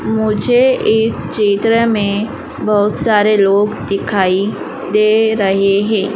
मुझे इस चित्र में बहोत सारे लोग दिखाई दे रहे हैं।